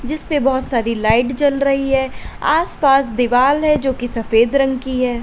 जिस पे बहुत सारी लाइट जल रही है आसपास दीवार है जो की सफेद रंग की है।